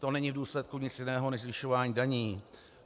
To není v důsledku nic jiného než zvyšování daní.